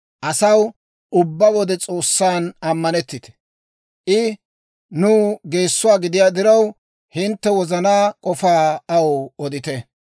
Asaw, ubbaa wode S'oossan ammanettite; I nuw geessuwaa gidiyaa diraw, hintte wozanaa k'ofaa aw odite.